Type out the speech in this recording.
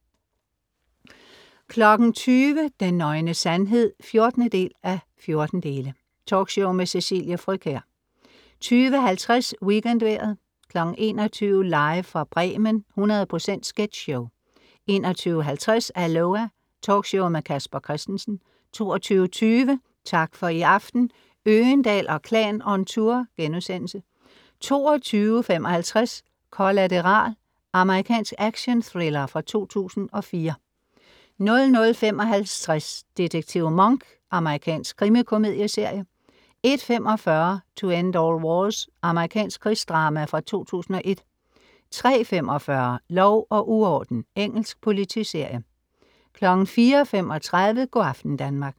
20.00 Den nøgne sandhed 14:14. Talkshow med Cecilie Frøkjær 20.50 WeekendVejret 21.00 Live fra Bremen. 100 procent sketchshow 21.50 Aloha! Talkshow med Casper Christensen 22.20 Tak for i aften. Øgendahl & Klan on tour* 22.55 Collateral. Amerikansk action-thriller fra 2004 00.55 Detektiv Monk. Amerikansk krimikomedieserie 01.45 To End All Wars. Amerikansk krigsdrama fra 2001 03.45 Lov og uorden. Engelsk politiserie 04.35 Go' aften Danmark